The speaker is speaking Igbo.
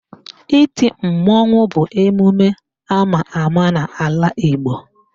Iti mmanwụ bụ emume ama ama n'ala Igbo